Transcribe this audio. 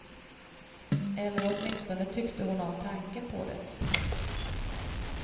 Eller åtminstone tyckte hon om tanken på det.